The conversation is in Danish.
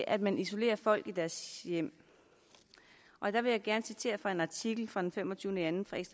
at man isolerer folk i deres hjem og der vil jeg gerne citere fra en artikel